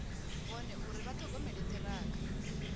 vhone uri vha ṱhogomela ṱhirakha